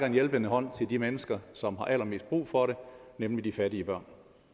en hjælpende hånd til de mennesker som har allermest brug for det nemlig de fattige børn